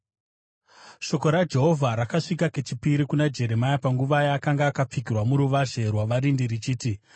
Shoko raJehovha rakasvika kechipiri kuna Jeremia panguva yaakanga akapfigirwa muruvazhe rwavarindi richiti,